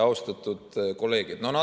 Austatud kolleegid!